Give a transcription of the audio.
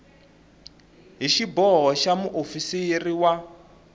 hi xiboho xa muofisiri wa